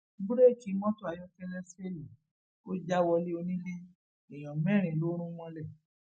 bùrẹẹkì mọtò ayọkẹlẹ fẹẹlì ò já wọlé onílé èèyàn mẹrin ló rún mọlé